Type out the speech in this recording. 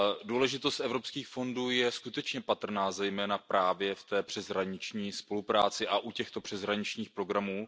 Důležitost evropských fondů je skutečně patrná zejména právě v té přeshraniční spolupráci a u těchto přeshraničních programů.